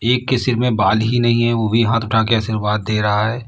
एक के सिर में बाल ही नहीं हैं वो भी हाथ उठा के आशीर्वाद दे रहा है।